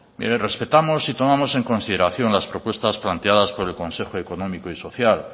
mire respetamos y tomamos en consideración las propuestas planteadas por el consejo económico y social